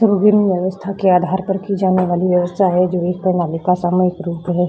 तो विभिन्न अवस्था के आधार पर की जाने वाली व्यवस्था है जो एक प्राणालिका समय के रूप में है।